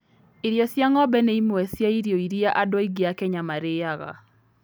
Irio cia ng'ombe nĩ imwe cia irio iria andũ aingĩ a Kenya marĩaga.